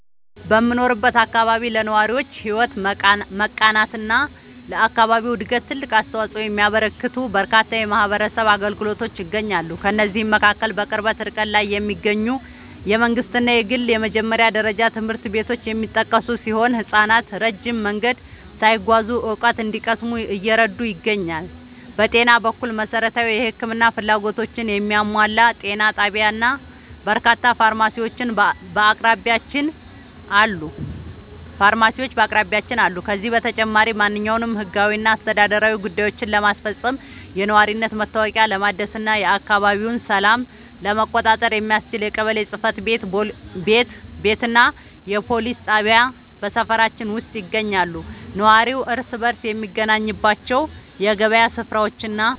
በምኖርበት አካባቢ ለነዋሪዎች ሕይወት መቃናትና ለአካባቢው ዕድገት ትልቅ አስተዋፅኦ የሚያበረክቱ በርካታ የማኅበረሰብ አገልግሎቶች ይገኛሉ። ከእነዚህም መካከል በቅርብ ርቀት ላይ የሚገኙ የመንግሥትና የግል የመጀመሪያ ደረጃ ትምህርት ቤቶች የሚጠቀሱ ሲሆን፣ ሕፃናት ረጅም መንገድ ሳይጓዙ እውቀት እንዲቀስሙ እየረዱ ይገኛሉ። በጤና በኩል፣ መሠረታዊ የሕክምና ፍላጎቶችን የሚያሟላ ጤና ጣቢያና በርካታ ፋርማሲዎች በአቅራቢያችን አሉ። ከዚህም በተጨማሪ፣ ማንኛውንም ሕጋዊና አስተዳደራዊ ጉዳዮችን ለማስፈጸም፣ የነዋሪነት መታወቂያ ለማደስና የአካባቢውን ሰላም ለመቆጣጠር የሚያስችል የቀበሌ ጽሕፈት ቤትና የፖሊስ ጣቢያ በሰፈራችን ውስጥ ይገኛሉ። ነዋሪው እርስ በርስ የሚገናኝባቸው የገበያ ሥፍራዎችና